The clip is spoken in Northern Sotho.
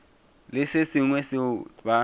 le se sengwe seo ba